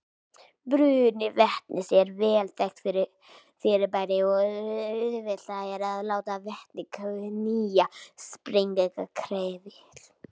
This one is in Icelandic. Bruni vetnis er vel þekkt fyrirbæri og auðvelt er að láta vetni knýja sprengihreyfil.